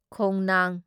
ꯈꯣꯡꯅꯥꯡ